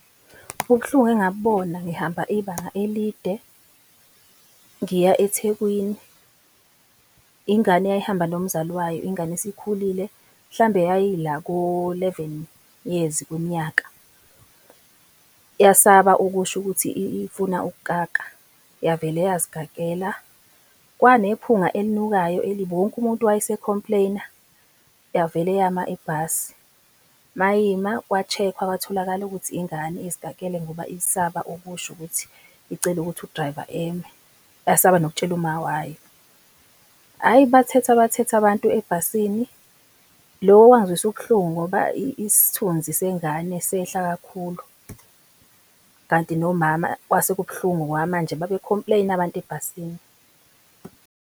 Ubuhlungu engabubona ngihamba ibanga elide ngiya eThekwini, ingane eyayihamba nomzali wayo, ingane esikhulile, hlambe yayi la ko-eleven years kwimnyaka. Yasaba ukusho ukuthi ifuna ukukaka, yavele yazikakela, kwanephunga elinukayo elibi, wonke umuntu wayese-complaine-a, yavele yama ibhasi, mayima kwa-check-wa, kwatholakala ukuthi ingane izikakele ngoba isaba ukusho ukuthi icela ukuthi u-driver eme, yasaba nokutshela umawayo. Hhayi bathetha, bathetha abantu ebhasini loku okwangizwisa ubuhlungu ngoba isithunzi sengane sehla kakhulu, kanti nomama kwase kubhlungu ngoba manje babe-complaine-a abantu ebhasini.